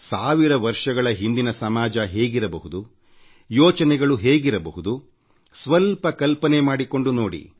ಸಾವಿರ ವರ್ಷಗಳ ಹಿಂದಿನ ಸಮಾಜ ಹೇಗಿರಬಹುದು ಆಗಿನ ಆಲೋಚನೆಗಳು ಹೇಗಿರಬಹುದು ಸ್ವಲ್ಪ ಕಲ್ಪನೆ ಮಾಡಿಕೊಂಡು ನೋಡಿ